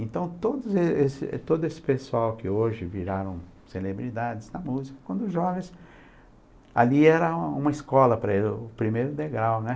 Então todo esse todo esse pessoal que hoje viraram celebridades na música, quando jovens, ali era uma escola para eles, o primeiro degrau, né.